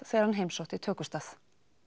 þegar hann heimsótti tökustað